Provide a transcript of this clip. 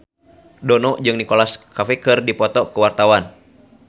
Dono jeung Nicholas Cafe keur dipoto ku wartawan